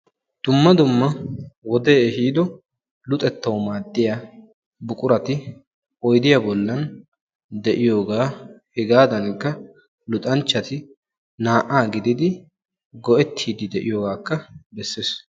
dumma dumma wode ehiido luxettawuu maaddiyaa buquratti oyddiyaa bollan de'iyoogaa hegaadankka luxanchatti naa"aa gididi go"ettiidi de'iyoogakka bessees.